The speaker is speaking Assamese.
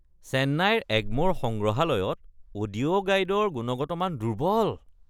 চেন্নাইৰ এগ্ম'ৰ সংগ্ৰহালয়ত অডিঅ' গাইডৰ গুণগত মান দুৰ্বল।